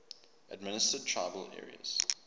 administered tribal areas